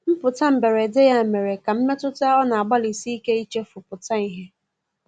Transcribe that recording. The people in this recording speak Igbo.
Mputa mgberede ya mere ka mmetụta ọ na agbali sike ichefu pụta ihe